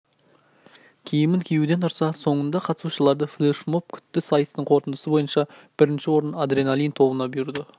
киімін киюден тұрса соңында қатысушыларды флешмоб күтті сайыстың қорытындысы бойынша бірінші орын адреналин тобына бұйырды